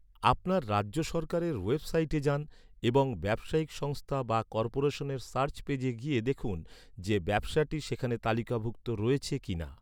আপনার রাজ্য সরকারের ওয়েবসাইটে যান এবং ব্যবসায়িক সংস্থা বা কর্পোরেশনের সার্চ পেজে গিয়ে দেখুন, যে ব্যবসাটি সেখানে তালিকাভুক্ত রয়েছে কিনা।